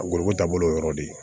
A gosiko taabolo yɔrɔ de ye